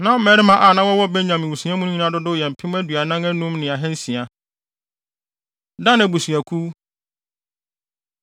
Na mmarima a na wɔwɔ Benyamin mmusua no mu nyinaa dodow yɛ mpem aduanan anum ne ahansia (45,600). Dan Abusuakuw